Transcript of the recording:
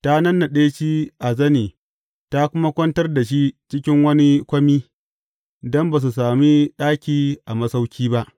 Ta nannaɗe shi a zane ta kuma kwantar da shi cikin wani kwami, don ba su sami ɗaki a masauƙi ba.